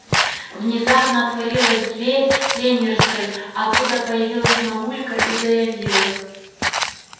внезапно отворилась дверь тренерской оттуда появилась мамулька и заявила